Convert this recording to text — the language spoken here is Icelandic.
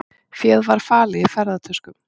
Féð var falið í ferðatöskum